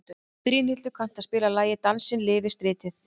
Brynhildur, kanntu að spila lagið „Dansinn lifir stritið“?